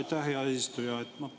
Aitäh, hea eesistuja!